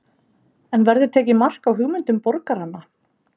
En verður tekið mark á hugmyndum borgaranna?